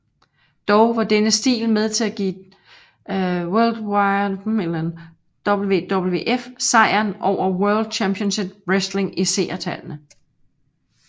Dog var denne stil med til at give WWF sejeren over World Championship Wrestling i seertallene